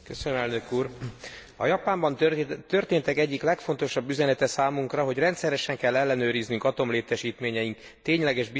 A Japánban történtek egyik legfontosabb üzenete számunkra, hogy rendszeresen kell ellenőriznünk atomlétesítményeink tényleges biztonsági állapotát.